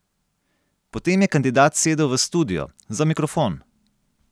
Potem je kandidat sedel v studio, za mikrofon.